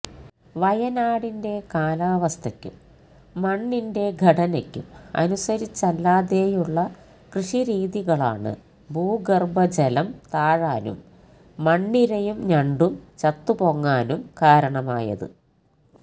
വയനാടിന്റെ കാലാവസ്ഥയ്ക്കും മണ്ണിന്റെ ഘടനയ്ക്കും അനുസരിച്ചല്ലാതെയുള്ള കൃഷിരീതികളാണ് ഭൂഗര്ഭജലം താഴാനും മണ്ണിരയും ഞണ്ടും ചത്തുപൊങ്ങാനും കാരണമായത്